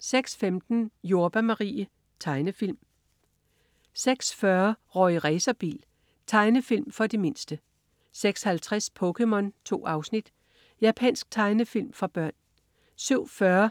06.15 Jordbær Marie. Tegnefilm 06.40 Rorri Racerbil. Tegnefilm for de mindste 06.50 POKéMON. 2 afsnit. Japansk tegnefilm for børn